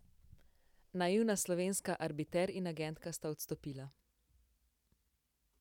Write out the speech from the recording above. Naivna slovenska arbiter in agentka sta odstopila.